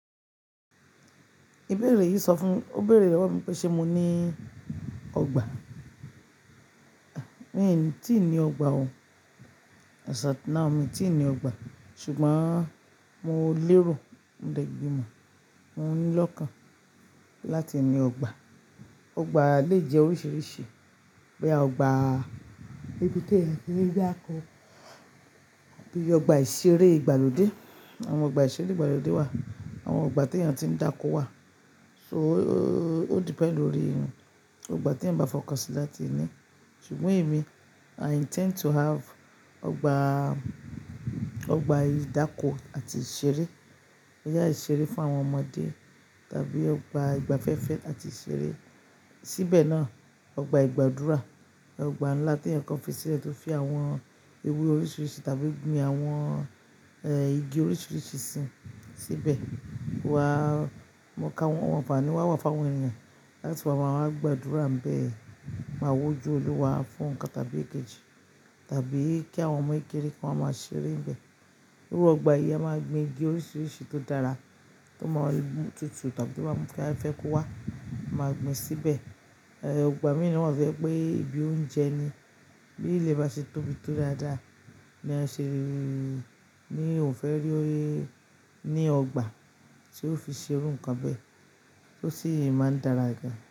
Ibẹ̀rẹ̀ yìí sọ fún, ó bẹ̀rẹ̀ ìròpọ̀ mi pé ṣé mo ní ọgbà? Mi ò ní, tíì ní ọgbà o. As at now, mi tíì ní ọgbà, ṣùgbọ́n mo lérò, mo dẹ̀ gbìmọ̀, mo nílọ́ kan láti ní ọgbà. Ọgbà lè jẹ́ oríṣiríṣi, bóyá ọgbà ibi tí ẹ̀yin ti ń dáko, bíi ọgbà ìṣeré ìgbàlódé, àwọn ọgbà ìṣeré ìgbàlódé wà, àwọn ọgbà tí ènìyàn ti ń dáko wà. So o-o-o-ó depend lórí ohun, ọgbà tí ẹ̀ ń bá fọkàn sí láti ní. Ṣùgbọ́n èmi i intend to have ọgbà, ọgbà ìdáko àti ìṣeré, ibi ayé ìṣeré fún àwọn ọmọdé tàbí ọgbà ìgbafẹ́fẹ́ àti ìṣeré. Síbẹ̀ náà, ọgbà ìgbàdúrà, ọgbà ńlá tí ẹnìkan fi sílẹ̀ tó fi àwọn ewé oríṣiríṣi tàbí gbin àwọn, eh, igi oríṣiríṣi sí, síbẹ̀. Wa, mo káwọn ọgbà ni wà wà fún àwọn ènìyàn láti máa wá gbàdúrà ń bẹ, máa wójú olúwa fún nǹkan tàbí èkejì tàbí kí àwọn ọmọ kékeré kan wà máa ṣeré ńbẹ̀. Lórí ọgbà yìí, a máa gbin igi oríṣiríṣi tó dára, tó máa tútù tàbí tó máà mú kí afẹ́fẹ́ kó wá, a máa gbin síbẹ̀. Ẹ, ọgbà míì náà fẹ́ pé ibi oúnjẹ ni, bí ilẹ̀ bá ṣe tóbi tó dáadáa, ní a ṣe lè, ní ò fẹ́ rí ó ní ọgbà tí ó fi ṣe irú ǹkan bẹ́ẹ̀ tó sì máa ń dára gan.